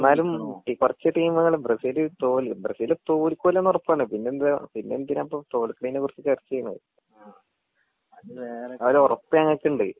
ഇന്നാലും കൊറച്ച് ട്ടീമുകൾ ബ്രസീൽ തോൽ ബ്രസീൽ തോൽകൂലെന്ന് ഒറപ്പാണ് പിന്നെ എന്തിനാ പിന്നെ എന്തിനാപ്പോ തോൽക്കിണേനെ കുറിച്ച് ചർച്ച ചെയിണ് ആ ആ ഒരറപ്പ് ഞങ്ങക്ക് ഇണ്ട്